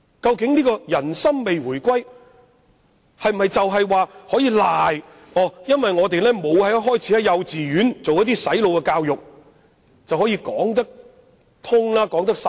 究竟人心未回歸可否歸咎於我們沒有一開始便在幼稚園進行"洗腦"教育，這樣便可以解釋過去？